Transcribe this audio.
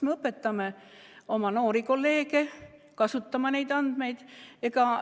Me õpetame oma noori kolleege neid andmeid kasutama.